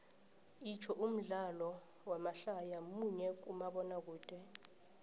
itsho umdlalo wamadlaya munye kumabonakude